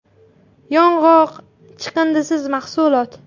Yong‘oq – chiqindisiz mahsulot.